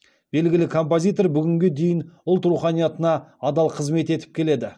белгілі композитор бүгінге дейін ұлт руханиятына адал қызмет етіп келеді